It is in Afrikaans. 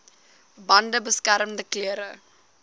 bande beskermende klere